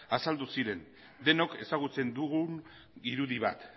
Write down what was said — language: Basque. azaldu ziren denok ezagutzen dugun irudi bat